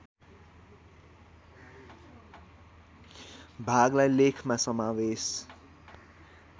भागलाई लेखमा समावेश